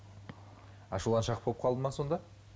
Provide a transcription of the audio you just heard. ашуланшақ болып қалды ма сонда